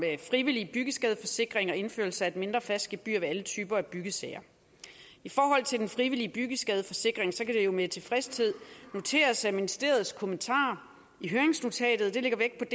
frivillig byggeskadeforsikring og indførelse af et mindre fast gebyr ved alle typer af byggesager i forhold til den frivillige byggeskadeforsikring kan det jo med tilfredshed noteres at ministeriets kommentarer i høringsnotatet lægger vægt